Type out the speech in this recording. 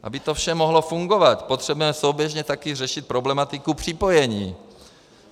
Aby to vše mohlo fungovat, potřebujeme souběžně taky řešit problematiku připojení.